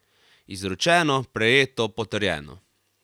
Izročeno, prejeto, potrjeno!